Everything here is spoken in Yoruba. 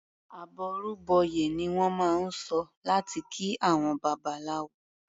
"Àbọrú bọyè" ni wọ́n máa ń sọ láti kí àwọn Babaláwo.